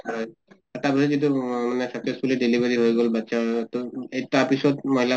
হয় । এটা সময়ত যিটো উম মানে satisfactorily delivery হৈ গʼল, বাচ্চা হৈ গʼল । তাৰ পিছত মহিলা